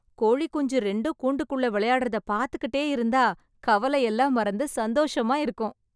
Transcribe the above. கோழி குஞ்சு ரெண்டும் கூண்டுக்குள்ள விளையாடறது பார்த்துகிட்டே இருந்தா, கவலை எல்லாம் மறந்து சந்தோஷமா இருக்கும்.